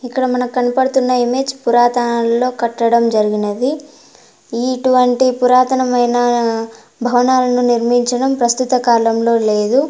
ఇక్కడ మనకు కనపడుతున్న ఇమేజ్ పురాతనలో కట్టడం జరిగినది ఇటువంటి పురాతనమైన భవనాలను నిర్మించడం ప్రస్తుత కాలంలో లేదు. .>